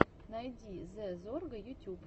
найди зэ зорга ютюб